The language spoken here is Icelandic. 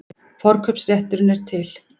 Forkaupsrétturinn er til.